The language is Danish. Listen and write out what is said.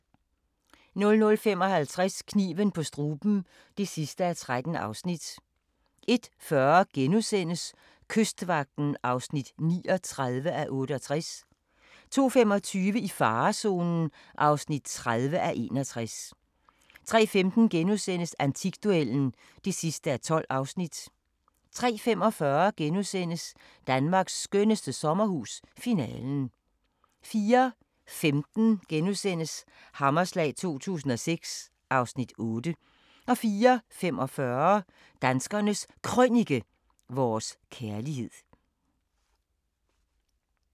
00:55: Kniven på struben (13:13) 01:40: Kystvagten (39:68)* 02:25: I farezonen (30:61) 03:15: Antikduellen (12:12)* 03:45: Danmarks skønneste sommerhus – Finalen * 04:15: Hammerslag 2006 (Afs. 8)* 04:45: Danskernes Krønike - vores kærlighed